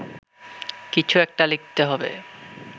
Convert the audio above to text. কিছু একটা লিখতে হবে